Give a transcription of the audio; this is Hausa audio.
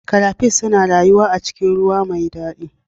Crayfish suna rayuwa a cikin ruwa mai dadi